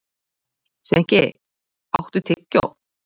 Sveinki, áttu tyggjó?